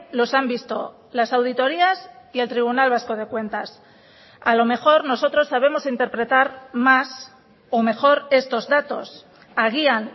los han visto las auditorías y el tribunal vasco de cuentas a lo mejor nosotros sabemos interpretar más o mejor estos datos agian